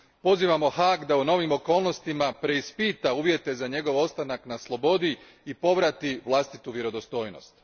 Pozivamo Haag da u novim okolnostima preispita uvjete za njegov ostanak na slobodi i povrati vlastitu vjerodostojnost.